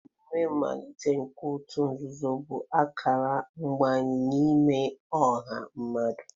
Emume mmalite nke òtù nzuzo bụ akara mbanye n'ime ọha mmadụ.